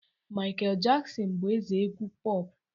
Michael Jackson bu eze egwu puopu